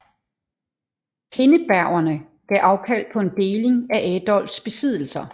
Pinnebergerne gav afkald på en deling af Adolfs besiddelser